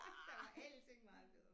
Der var ellers ikke meget bedre